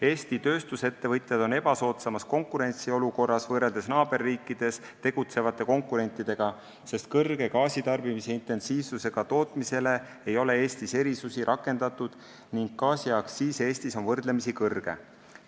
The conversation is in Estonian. Eesti tööstusettevõtjad on ebasoodsamas konkurentsiolukorras võrreldes naaberriikides tegutsevate konkurentidega, sest kõrge gaasitarbimise intensiivsusega tootmisele ei ole Eestis erisusi rakendatud ning gaasiaktsiis on Eestis võrdlemisi kõrge.